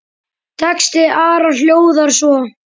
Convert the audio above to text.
Texti Ara hljóðar svo